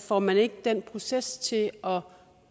får man ikke den proces til at